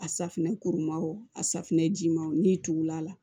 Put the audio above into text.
A safunɛ kurun ma o a safunɛ jimanw n'i tugul'a la